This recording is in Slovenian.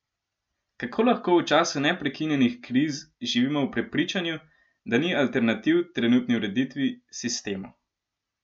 Kako lahko v času neprekinjenih kriz živimo v prepričanju, da ni alternativ trenutni ureditvi, sistemu?